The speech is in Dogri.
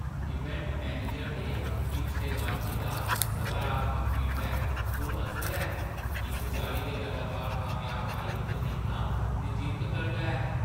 इवेंट मैनेजर दे पिछले गाह्कें दा सकारात्मक फीडबैक पुरअसर ऐ। इस चाल्ली दे लगातार कामयाब आयोजन दिक्खना नचिंत करदा ऐ।